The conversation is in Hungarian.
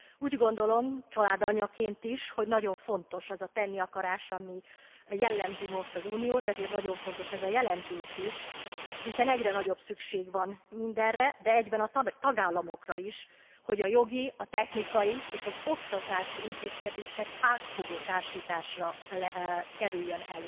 Úgy gondolom családanyaként is hogy nagyon fontos az a tenni akarás, ami jellemzi most az Uniót, ezért nagyon fontos ez a jelentés is, hiszen egyre nagyobb szükség van minderre, de egyben a tagállamokra is, hogy a jogi, a technikai és az oktatási intézkedések átfogó társításra kerüljenek.